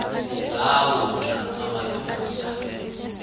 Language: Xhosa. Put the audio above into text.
la wona amadoda